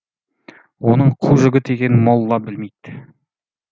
оның қу жігіт екенін молла білмейді